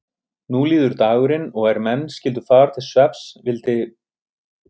Nú líður dagurinn og er menn skyldu fara til svefns vildi